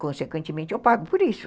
Consequentemente, eu pago por isso.